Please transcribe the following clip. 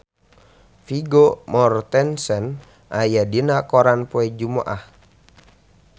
Vigo Mortensen aya dina koran poe Jumaah